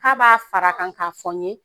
K'a b'a fara kan k'a fɔ n ye